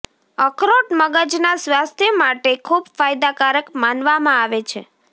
અખરોટ મગજના સ્વાસ્થ્ય માટે ખૂબ ફાયદાકારક માનવામાં આવે છે